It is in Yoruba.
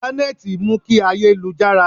Intanẹẹti mú kí ayé lu jára